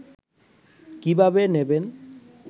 কীভাবে নেবেন